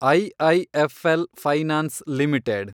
IIFL finance limited